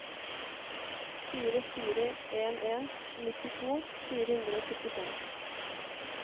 fire fire en en nittito fire hundre og syttifem